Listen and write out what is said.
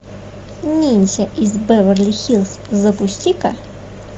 ниндзя из беверли хиллз запусти ка